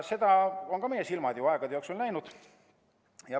Seda on ka meie silmad aegade jooksul juba läinud.